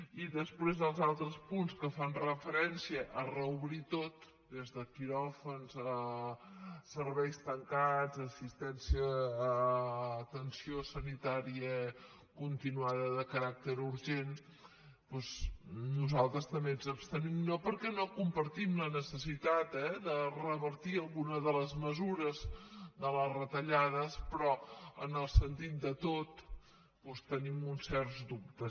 i després als altres punts que fan referència a reobrir ho tot des de quiròfans a serveis tancats a atenció sanitària continuada de caràcter urgent doncs nosaltres també ens abstenim no perquè no compartim la necessitat eh de revertir alguna de les mesures de les retallades però en el sentit de tot doncs tenim uns certs dubtes